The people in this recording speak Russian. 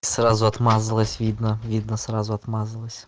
сразу отмазалась видно видно сразу отмазалась